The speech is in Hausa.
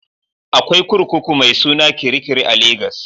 Akwai kurkuku mai suna Kirikiri a Legas